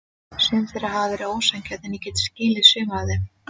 Sum þeirra hafa verið ósanngjörn en ég get skilið sum af þeim.